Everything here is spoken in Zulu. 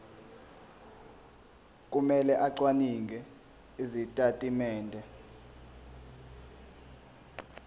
kumele acwaninge izitatimende